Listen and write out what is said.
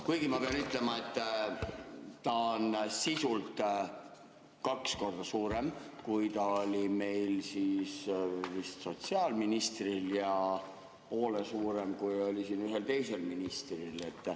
Kuigi ma pean ütlema, et see on sisult kaks korda suurem, kui oli sotsiaalministril, ja poole suurem, kui oli ühel teisel ministril.